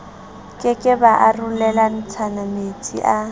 ke ke ba arolelanametsi a